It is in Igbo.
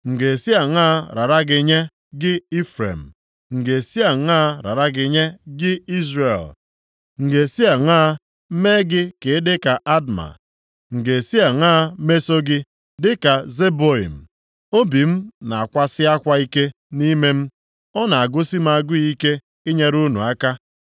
“M ga-esi aṅaa rara gị nye, gị Ifrem? M ga-esi aṅaa rara gị nye, gị Izrel? M ga-esi aṅaa mee gị ka ịdị ka Adma? M ga-esi aṅaa meso gị dịka Zeboiim? Obi m na-akwasị akwa ike nʼime m; ọ na-agụsị m agụụ ike inyere unu aka.